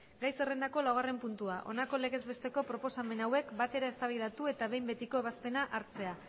gai zerrendako laugarrena puntua honako legez besteko proposamen hauek batera eztabaidatu eta behin betiko ebazpena hartzea